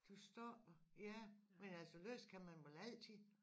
Du stopper ja men altså læse kan man vel altid